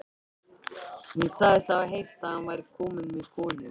Hún sagðist hafa heyrt að hann væri kominn með konu.